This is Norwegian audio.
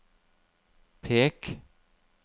pek